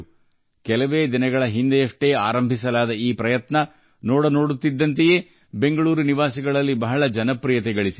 ಕೆಲವು ದಿನಗಳ ಹಿಂದೆ ಪ್ರಾರಂಭವಾದ ಈ ಉಪಕ್ರಮವು ಬೆಂಗಳೂರಿನ ಜನರಲ್ಲಿ ಬಹಳ ಜನಪ್ರಿಯವಾಗಿದೆ